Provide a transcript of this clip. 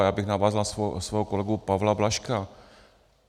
A já bych navázal na svého kolegu Pavla Blažka.